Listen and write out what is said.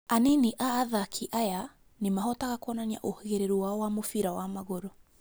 Anini a athaki aya nĩmahotaga kuonania ũhĩgĩrĩru wao wa mũbira wa magũrũ